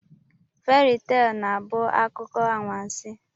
Feri tel na-abụ akụkọ anwansi.